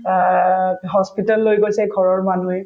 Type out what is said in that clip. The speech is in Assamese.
অ, hospital লৈ গৈছে ঘৰৰ মানুহে